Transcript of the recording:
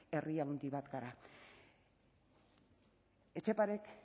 herri handi bat gara etxeparek